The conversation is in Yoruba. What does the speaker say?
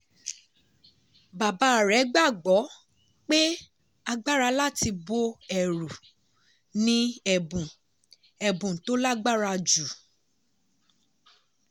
bàbá rẹ̀ gbàgbọ́ pé agbára láti bọ́ ẹ̀rù ni ẹ̀bùn ẹ̀bùn tó lágbára jù.